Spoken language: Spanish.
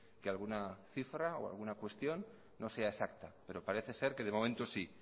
que alguna cifra o alguna cuestión no sea exacta pero parece ser que de momento sí